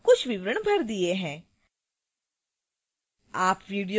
मैंने अपने library के अनुसार कुछ विवरण भर दिए हैं